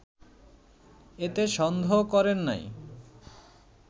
এতে সন্দেহ করেন নাই